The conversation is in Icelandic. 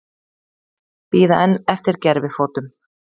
Bíða enn eftir gervifótum